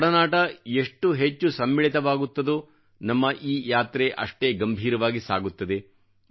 ತಮ್ಮ ಒಡನಾಟ ಎಷ್ಟು ಹೆಚ್ಚು ಸಮ್ಮಿಳಿತವಾಗುತ್ತದೋ ನಮ್ಮ ಈ ಯಾತ್ರೆ ಅಷ್ಟೇ ಗಂಭೀರವಾಗಿ ಸಾಗುತ್ತದೆ